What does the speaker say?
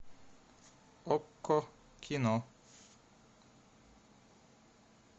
окко кино